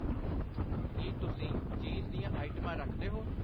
ਕਿ ਤੁਸੀਂ ਚੀਜ਼ ਦੀਆਂ ਆਈਟਮਾਂ ਰੱਖਦੇ ਹੋ?